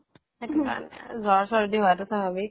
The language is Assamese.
সেইটো কাৰনে জ্বৰ চৰ্দি হোৱাটো স্বাভাবিক